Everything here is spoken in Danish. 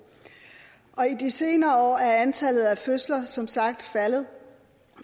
og i de senere år er antallet af fødsler som sagt faldet